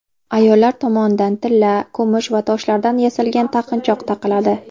Ayollar tomonidan tilla, kumush va toshlardan yasalgan taqinchoq taqiladi.